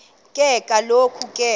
ke kaloku ke